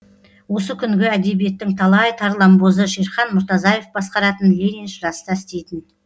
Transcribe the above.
осы күнгі әдебиеттің талай тарланбозы шерхан мұртазаев басқаратын лениншіл жаста істейтін